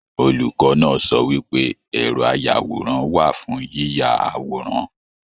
Olùkọ náà sọ wípé ẹrọ ayàwòrán wà fún yiyá àwòrán.